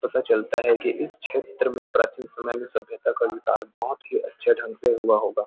पता चलता है कि इस छेत्र में प्राचीन समय में सभ्यता का विकास बहोत ही अच्छे ढंग से हुआ होगा।